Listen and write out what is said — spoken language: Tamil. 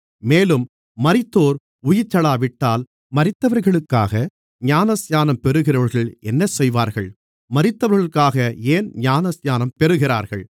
மேலும் மரித்தோர் உயிர்த்தெழாவிட்டால் மரித்தவர்களுக்காக ஞானஸ்நானம் பெறுகிறவர்கள் என்ன செய்வார்கள் மரித்தவர்களுக்காக ஏன் ஞானஸ்நானம் பெறுகிறார்கள்